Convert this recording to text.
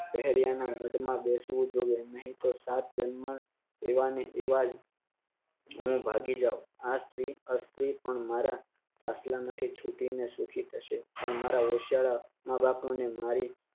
પહેર્યા ના હદ માં દેશવું જોઈએ નહિ તો સાત જન્મ એવાને એવા જ હું ભાગી જાવ આ સ્ત્રી પણ અસ્ત્રી પણ મારા મારા ખટલા માંથી છૂટી ને સુખી થશે પણ મારા ઓશિયાળા માં બાપ ને મારી